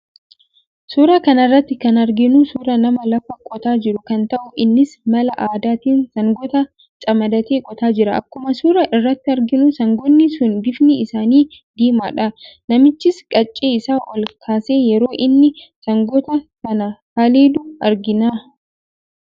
Suuraa kana irratti kan arginu suuraa nama lafa qootaa jiru kan ta'u, innis mala aadaatiin sangoota camadatee qotaa jira. Akkuma suuraa irraa arginu sangoonni sun bifni isaanii diimaadha. Namichis qaccee isaa ol kaasee yeroo inni sangoota sana haleelu argina.